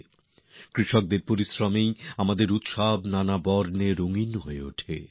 আমাদের উৎসব কৃষকদের পরিশ্রমেই বর্ণময় হয়ে ওঠে